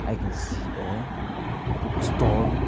i can see a bookstore.